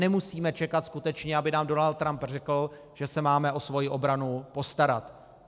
Nemusíme čekat skutečně, aby nám Donald Trump řekl, že se máme o svoji obranu postarat.